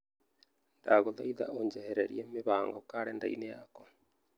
Ndagũthaitha ũnjehererie mĩbango karenda-inĩ yakwa